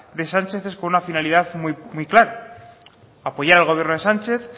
de sánchez es con una finalidad muy clara apoyar al gobierno de sánchez